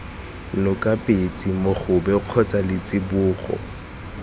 noka petse mogobe kgotsa letsibogo